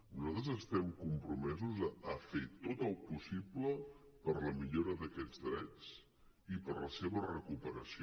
nosaltres estem compromesos a fer tot el possible per la millora d’aquests drets i per la seva recuperació